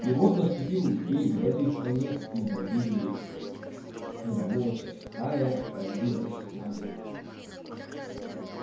и вот наступил день в этой стране изобилия когда волчья стая разбилась на две